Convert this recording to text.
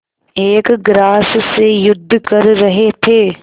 एक ग्रास से युद्ध कर रहे थे